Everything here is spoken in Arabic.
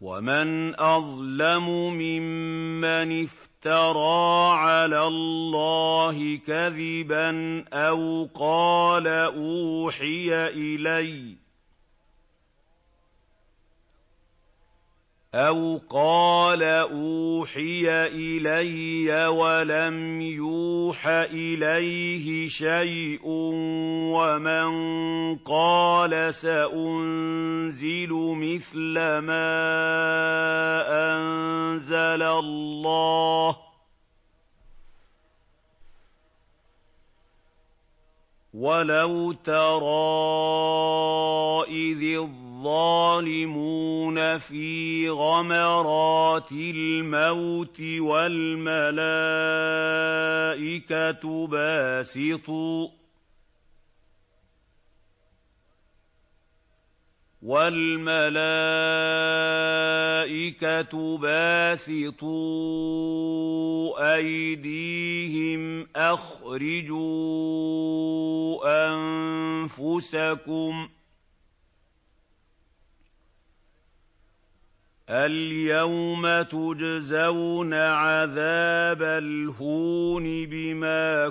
وَمَنْ أَظْلَمُ مِمَّنِ افْتَرَىٰ عَلَى اللَّهِ كَذِبًا أَوْ قَالَ أُوحِيَ إِلَيَّ وَلَمْ يُوحَ إِلَيْهِ شَيْءٌ وَمَن قَالَ سَأُنزِلُ مِثْلَ مَا أَنزَلَ اللَّهُ ۗ وَلَوْ تَرَىٰ إِذِ الظَّالِمُونَ فِي غَمَرَاتِ الْمَوْتِ وَالْمَلَائِكَةُ بَاسِطُو أَيْدِيهِمْ أَخْرِجُوا أَنفُسَكُمُ ۖ الْيَوْمَ تُجْزَوْنَ عَذَابَ الْهُونِ بِمَا